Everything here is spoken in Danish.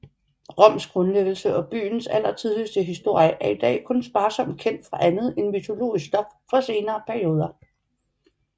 Roms grundlæggelse og byens allertidligste historie er i dag kun sparsomt kendt fra andet end mytologisk stof fra senere perioder